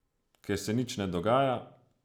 Ker se nič ne dogaja.